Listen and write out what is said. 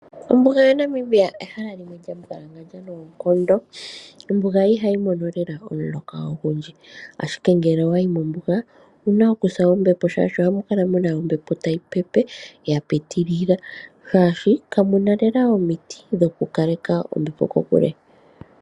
Ombuga yaNamibia ehala limwe lya mbwalangandja noonkondo. Ombuga ihayi mono lela omuloka ogundji. Ashike ngele owa yi mombuga owu na oku sa ombepo, shaashi ohamu kala mu na ombepo tayi pepe ya pitilila, shaashi ka mu na lela omiti dhokukaleka ombepo kokule.